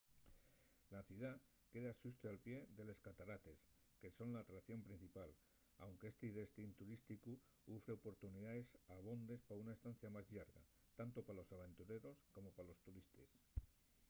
la ciudá queda xusto al pie de les catarates que son l’atracción principal anque esti destín turísticu ufre oportunidaes abondes pa una estancia más llarga tanto pa los aventureros como pa los turistes